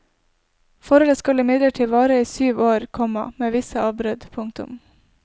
Forholdet skal imidlertid vare i syv år, komma med visse avbrudd. punktum